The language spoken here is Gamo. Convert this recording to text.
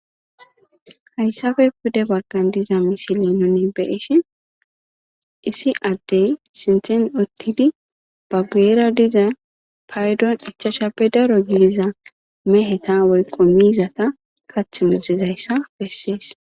Hayssafe pude baggan diza misilenone beeshi issi addey sinthen ottidi ba guera diza paydon ichashappe daro giliza meheta woyqo miizata kath muzizayssa bessees.